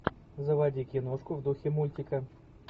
заводи киношку в духе мультика